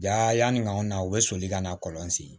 Ja yanni ka nw na u bɛ soli ka na kɔlɔn sen